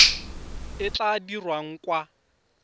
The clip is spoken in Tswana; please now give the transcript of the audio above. e e tla dirwang kwa